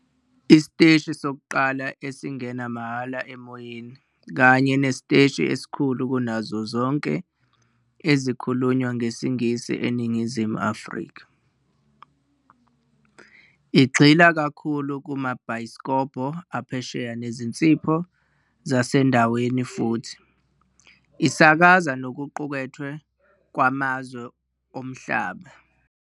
Isiteshi sokuqala esingena mahhala emoyeni kanye nesiteshi esikhulu kunazo zonke ezikhulunywa ngesiNgisi eNingizimu Afrika. Igxila kakhulu kumabhayisikobho aphesheya nezinsipho zasendaweni futhi isakaza nokuqukethwe kwamazwe omhlaba.